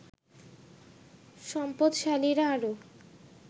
সম্পদশালীরা আরও